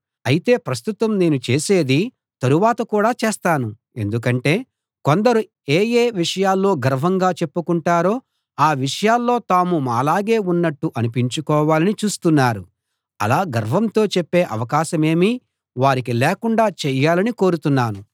అయితే ప్రస్తుతం నేను చేసేది తరువాత కూడా చేస్తాను ఎందుకంటే కొందరు ఏఏ విషయాల్లో గర్వంగా చెప్పుకొంటారో ఆ విషయాల్లో తాము మాలాగే ఉన్నట్టు అనిపించుకోవాలని చూస్తున్నారు అలా గర్వంతో చెప్పే అవకాశమేమీ వారికి లేకుండా చేయాలని కోరుతున్నాను